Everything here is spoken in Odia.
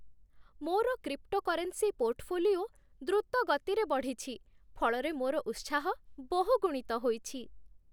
ମୋର କ୍ରିପ୍ଟୋକରେନ୍ସି ପୋର୍ଟଫୋଲିଓ ଦ୍ରୁତ ଗତିରେ ବଢ଼ିଛି, ଫଳରେ ମୋର ଉତ୍ସାହ ବହୁଗୁଣିତ ହୋଇଛି।